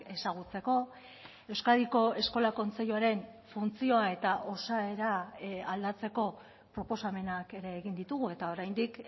ezagutzeko euskadiko eskola kontseiluaren funtzioa eta osaera aldatzeko proposamenak ere egin ditugu eta oraindik